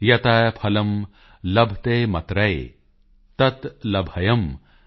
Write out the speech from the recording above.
ਯਤ੍ ਫਲੰ ਲਭਤੇਮਤਰਯ ਤਤ੍ ਲਭਯੰ ਕੰਨਿਯਕੈਕਯਾ